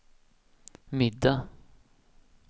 middag